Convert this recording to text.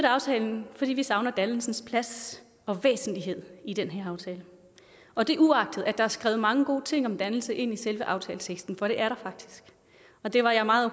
aftalen fordi vi savner dannelsens plads og væsentlighed i den her aftale og det er uagtet at der er skrevet mange gode ting om dannelse ind i selve aftaleteksten for det er der faktisk og det var jeg meget